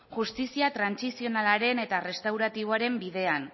justizia transitzionalaren eta restauratiboaren bidean